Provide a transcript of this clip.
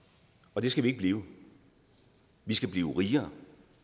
og det skal vi ikke blive vi skal blive rigere